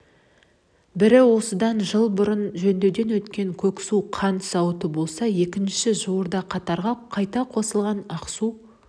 бірі осыдан жыл бұрын жөндеуден өткен көксу қант зауыты болса екіншісі жуырда қатарға қайта қосылатын ақсу